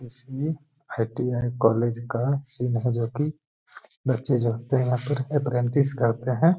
इसमें ITI. College का scene है जो कि बच्चे जगते है यहां पर अपरेंटिस करते हैं।